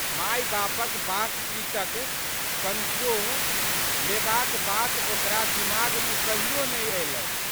मायबापक बातचीतक कनसोह लेबाक बात ओकरा दीमागमे कहियो नहि अयलै।